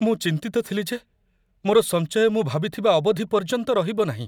ମୁଁ ଚିନ୍ତିତ ଥିଲି ଯେ ମୋର ସଞ୍ଚୟ ମୁଁ ଭାବିଥିବା ଅବଧି ପର୍ଯ୍ୟନ୍ତ ରହିବ ନାହିଁ।